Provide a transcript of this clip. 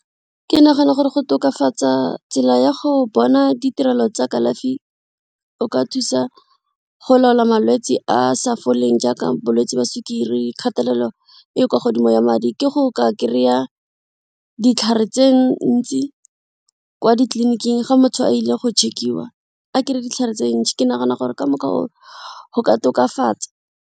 Ke nagana gore go tokafatsa tsela ya go bona ditirelo tsa kalafi o ka thusa go laola malwetsi a a sa foleng jaaka bolwetsi jwa sukiri, kgatelelo e kwa godimo moya madi ke go ka kry-a ditlhare tse ntsi kwa ditleliniking ga motho a ile go check-iwa a kry-e ditlhare tse ntsi, ke nagana gore ka mokgwa oo go ka tokafatsa.